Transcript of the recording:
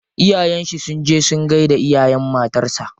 Iyayen shi sun je sun gaida iyayen matar sa.